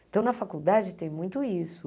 Então, na faculdade tem muito isso.